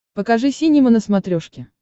покажи синема на смотрешке